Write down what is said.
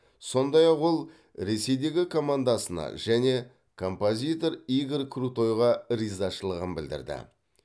сондай ақ ол ресейдегі командасына және композитор игорь крутойға ризашылығын білдірді